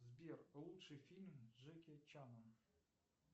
сбер лучший фильм с джеки чаном